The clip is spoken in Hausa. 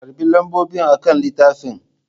Karɓi lambobi akan littafin!